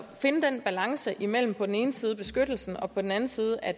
finde den balance imellem på den ene side beskyttelsen og på den anden side at